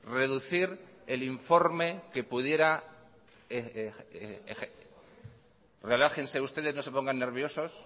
reducir el informe que pudiera relájense ustedes no se pongan nerviosos